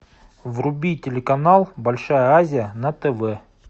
вруби телеканал большая азия на тв